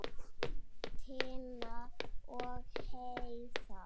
Tinna og Heiðar.